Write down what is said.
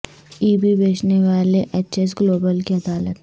ای B بیچنے والے H S global کی عدالت